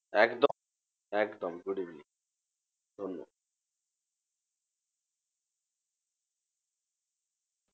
একদম একদম good evening ধন্যবাদ।